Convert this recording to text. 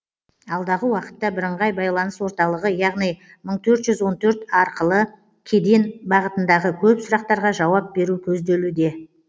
алдағы уақытта бірыңғай байланыс орталығы яғни мың төрт жүз он төрт арқылы кеден бағытындағы көп сұрақтарға жауап беру көзделуде